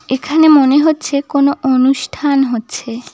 এখানে মনে হচ্ছে কোনো অনুষ্ঠান হচ্ছে।